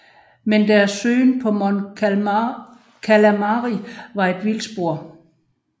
Men deres søgen på Mon Calamari var et vildspor